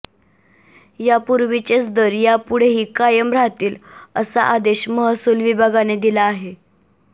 यापूर्वीचेच दर यापुढेही कायम राहतील असा आदेश महसूल विभागाने दिला आहे